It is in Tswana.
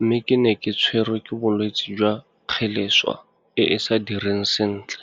mme ke ne ke tshwerwe ke bolwetse jwa kgeleswa e e sa direng sentle.